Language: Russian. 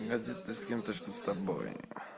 это ты с кем-то что с тобой